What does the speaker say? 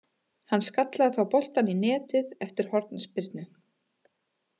Hann skallaði þá boltann í netið eftir hornspyrnu.